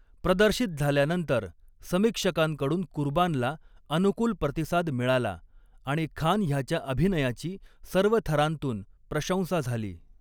प्रदर्शित झाल्यानंतर, समीक्षकांकडून कुर्बानला अनुकूल प्रतिसाद मिळाला, आणि खान ह्याच्या अभिनयाची सर्व थरांतून प्रशंसा झाली.